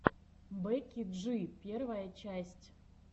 бекки джи первая часть